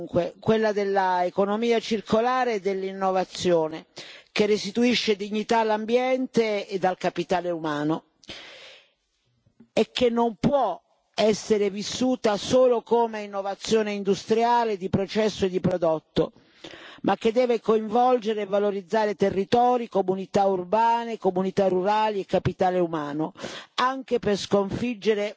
Una vera e propria rivoluzione, dunque, quella dell'economia circolare e dell'innovazione, che restituisce dignità all'ambiente e al capitale umano e che non può essere vissuta solo come innovazione industriale di processo e di prodotto, ma che deve coinvolgere e valorizzare territori, comunità urbane, comunità rurali e capitale umano,